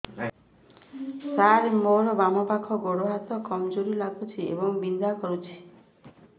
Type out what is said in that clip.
ସାର ମୋର ବାମ ପାଖ ଗୋଡ ହାତ କମଜୁର ଲାଗୁଛି ଏବଂ ବିନ୍ଧା କରୁଛି